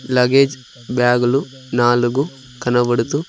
luggage బ్యాగులు నాలుగు కనబడుతూ--